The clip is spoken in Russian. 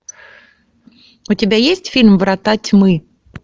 у тебя есть фильм врата тьмы